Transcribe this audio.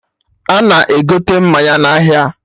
Ana egote mmanya na ahịa